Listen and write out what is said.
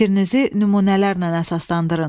Fikrinizi nümunələrlə əsaslandırın.